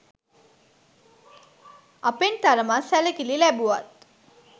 අපෙන් තරමක් සැලකිලි ලැබුවත්